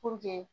Puruke